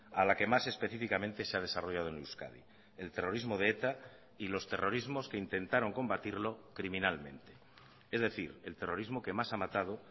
a la que más específicamente se ha desarrollado en euskadi el terrorismo de eta y los terrorismos que intentaron combatirlo criminalmente es decir el terrorismo que más ha matado